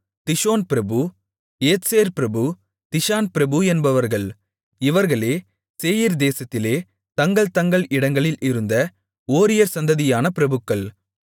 திஷோன் பிரபு ஏத்சேர் பிரபு திஷான் பிரபு என்பவர்கள் இவர்களே சேயீர் தேசத்திலே தங்கள் தங்கள் இடங்களில் இருந்த ஓரியர் சந்ததியான பிரபுக்கள்